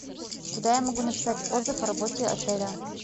куда я могу написать отзыв о работе отеля